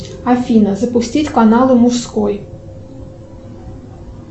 афина запустить каналы мужской